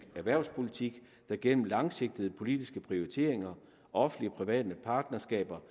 erhvervspolitik der gennem langsigtede politiske prioriteringer offentlig private partnerskaber